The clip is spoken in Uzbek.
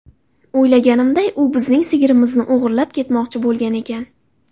O‘ylaganimday u bizning sigirimizni o‘g‘irlab ketmoqchi bo‘lgan ekan.